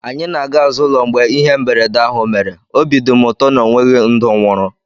Anyị na-aga azụ ụlọ mgbe ihe mberede ahụ mere, obi dị m ụtọ na ọ nweghị ndụ nwụrụ